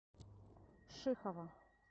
шихова